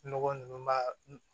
Nɔgɔ nunnu b'a